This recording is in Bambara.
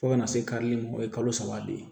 Fo kana se karili ma o ye kalo saba de ye